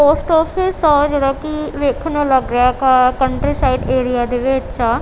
Post office ਆ ਜਿਹੜਾ ਕਿ ਵੇਖਣ ਨੂੰ ਲੱਗ ਰਿਹਾ ਕਾ ਕੰਟਰੀ ਸਾਈਡ ਏਰੀਆ ਦੇ ਵਿੱਚ ਆ।